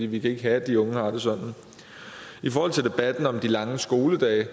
vi kan ikke have at de unge har det sådan i forhold til debatten om de lange skoledage